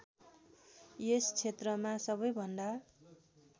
यस क्षेत्रमा सबैभन्दा